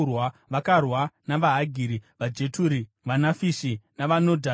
Vakarwa navaHagiri, vaJeturi, vaNafishi navaNodhabhi.